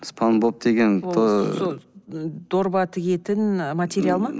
спанбоп деген дорба тігетін і материал ма